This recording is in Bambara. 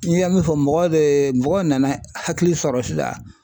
N ye min fɔ mɔgɔ de ye mɔgɔ nana hakili sɔrɔ sisan